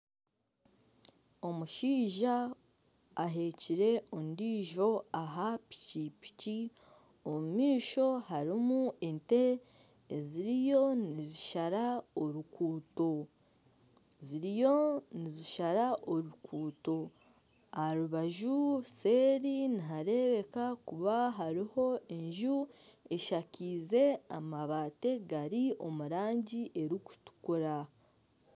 Omushaija aheekire ondiijo aha piki omu maisho hariyo ente eziriyo nizishara oruguuto aha rubaju seeri nihareebeka kuba hariyo enju eshakaize amabaati agari omurangi erikutukura.